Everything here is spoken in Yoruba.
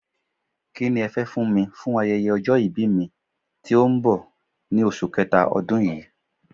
Kí ni ẹ fẹ́ fún mi fún ayẹyẹ ọjọ́ ìbí mi tó ń bọ̀ ní oṣù kẹta ọdún yí?